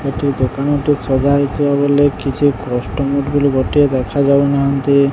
ଏଠି ଦୋକାନ ଟି ସଜାହେଇଥିବା ବେଲେ କିଛି କଷ୍ଟମର ବୋଲି ଗୋଟିଏ ଦେଖାଯାଉନାହାନ୍ତି।